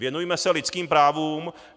Věnujme se lidským právům.